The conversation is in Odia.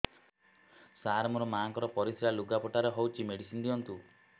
ସାର ମୋର ମାଆଙ୍କର ପରିସ୍ରା ଲୁଗାପଟା ରେ ହଉଚି ମେଡିସିନ ଦିଅନ୍ତୁ